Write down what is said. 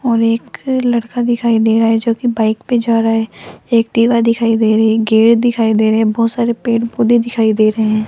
और एक लड़का दिखाई दे रहा है जोकि बाइक पे जा रहा है एक टीला दिखाई दे रहे है गेट दिखाई दे रहे है बहोत सारे पेड़-पौधे दिखाई दे रहे --